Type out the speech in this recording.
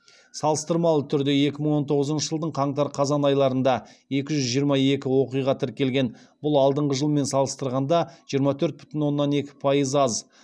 салыстырмалы түрде екі мың он тоғызыншы жылдың қаңтар қазан айларында екі жүз жиырма екі оқиға тіркелген бұл алдыңғы жылмен салыстырғанда жиырма төрт бүтін оннан екі пайыз аз